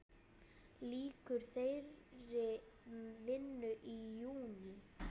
Lýkur þeirri vinnu í júní.